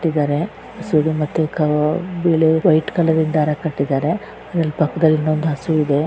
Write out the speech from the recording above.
ಇದರಲ್ಲಿ ಮತ್ತೆ ಕಲರ್ ಇಂದ ಮಾಡಿದರೆ ಆದ್ರ ಪಕ್ಕದಲ್ಲಿ ಒಂದ್